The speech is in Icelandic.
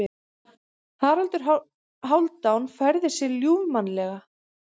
Haraldur Hálfdán færði sig ljúfmannlega.